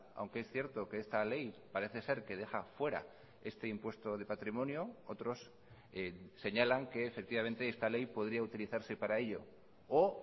aunque es cierto que esta ley parece ser que deja fuera este impuesto de patrimonio otros señalan que efectivamente esta ley podría utilizarse para ello o